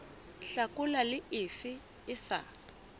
hlakola le efe e sa